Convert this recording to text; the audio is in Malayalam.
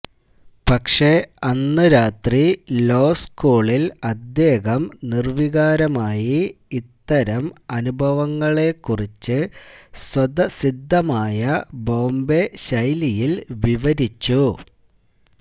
പക്ഷേ അന്ന് രാത്രി ലോ സ്കൂളില് അദ്ദേഹം നിര്വികാരമായി ഇത്തരം അനുഭവങ്ങളെക്കുറിച്ച് സ്വതസിദ്ധമായ ബോംബെ ശൈലിയില് വിവരിച്ചു